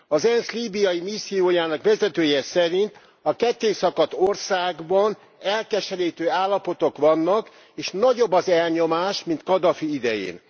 Az ENSZ líbiai missziójának vezetője szerint a kettészakadt országban elkeserítő állapotok vannak, és nagyobb az elnyomás, mint Kadhafi idején.